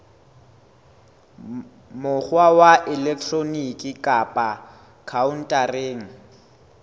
mokgwa wa elektroniki kapa khaontareng